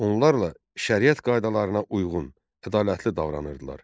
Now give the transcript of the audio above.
Onlarla şəriət qaydalarına uyğun, ədalətli davranırdılar.